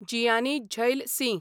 Jiyani Zail Singh